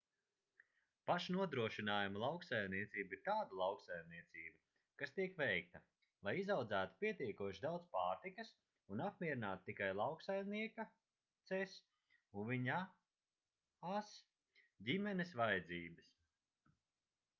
pašnodrošinājuma lauksaimniecība ir tāda lauksaimniecība kas tiek veikta lai izaudzētu pietiekoši daudz pārtikas un apmierinātu tikai lauksaimnieka/-ces un viņa/-as ģimenes vajadzības